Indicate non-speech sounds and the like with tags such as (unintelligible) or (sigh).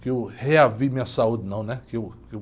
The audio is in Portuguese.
que eu (unintelligible) minha saúde, não, né? Que eu, que eu